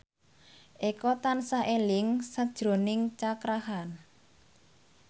Eko tansah eling sakjroning Cakra Khan